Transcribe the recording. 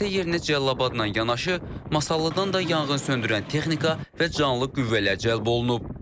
Hadisə yerinə Cəlilabadla yanaşı Masallıdan da yanğınsöndürən texnika və canlı qüvvələr cəlb olunub.